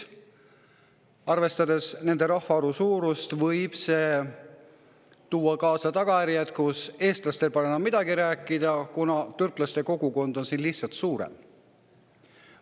Arvestades nende rahvaarvu, võib see tuua kaasa sellised tagajärjed, et eestlastel polekski siin enam midagi rääkida, kuna türklaste kogukond oleks lihtsalt suurem.